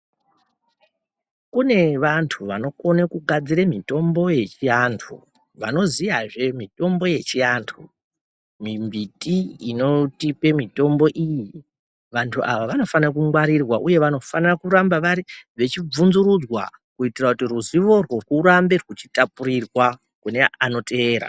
Kune vantu vanokone kugadzire mitombo yechi antu vanoziyazve mitombo yechiantu mi mbiti inotipe mitombo iyi vantu ava vanofana kungwarirwa uye vanofana kuramba vechi bvunzurudzwa kuita kuti ruziwo rwo rwurambe rwechi tapurirwa kune ano teera.